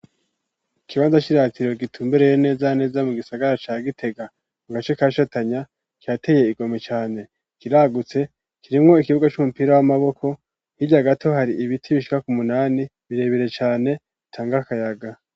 Ikibanza kiratiro gitumbereye neza neza mu gisagara ca gitega mu gace kagitanya cirateye igomwe cane kiragutse kirimwo ikibuga c'umupira w'amaboko hirya gato hari ibiti bishika ku munani birebere cane bitanga akayaga.